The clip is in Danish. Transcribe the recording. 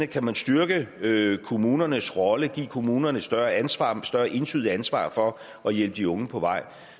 kan styrke kommunernes rolle give kommunerne et større ansvar et større entydigt ansvar for at hjælpe de unge på vej